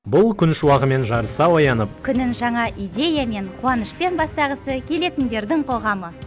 бұл күн шуағымен жарыса оянып күнін жаңа идеямен қуанышпен бастағысы келетіндердің қоғамы